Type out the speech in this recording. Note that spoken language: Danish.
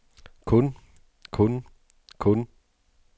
kun kun kun